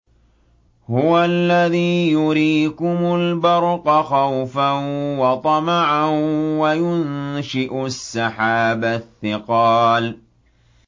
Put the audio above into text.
هُوَ الَّذِي يُرِيكُمُ الْبَرْقَ خَوْفًا وَطَمَعًا وَيُنشِئُ السَّحَابَ الثِّقَالَ